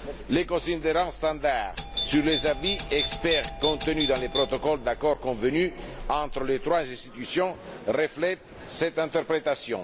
Les considérants standard sur les avis d'experts contenus dans les protocoles d'accord convenus entre les trois institutions reflètent cette interprétation.